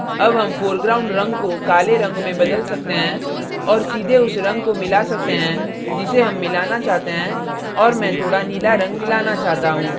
add हम foreground रंग को काले रंग में बदल सकते हैं और सीधे उस रंग को मिला सकते हैं जिसे हम मिलाना चाहते हैं और मैं थोड़ा नीला रंग मिलाना चाहता हूँ